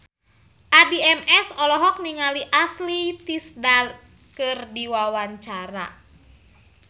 Addie MS olohok ningali Ashley Tisdale keur diwawancara